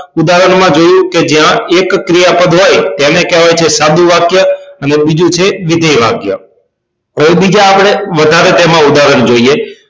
ઉદાહરણ માં જોયું કે જયા એક ક્રિયાપદ હોય તો તેને કહેવાય છે સાદું વાક્ય અને બીજું છે વિધેય વાક્ય હવે બીજા આપણે વધારે તેમાં ઉદાહરણ જોઈએ